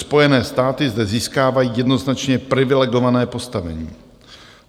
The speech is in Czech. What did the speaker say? Spojené státy zde získávají jednoznačně privilegované postavení.